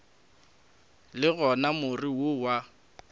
le gona more wo wa